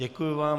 Děkuji vám.